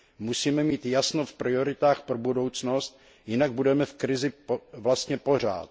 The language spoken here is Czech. Musíme mít jasno v prioritách pro budoucnost, jinak budeme v krizi vlastně pořád.